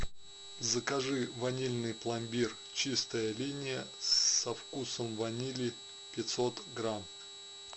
закажи ванильный пломбир чистая линия со вкусом ванили пятьсот грамм